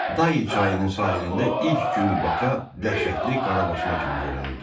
Dəy çayının sahilində ilk gün Baka dəhşətli Qarabaşma kimi görünürdü.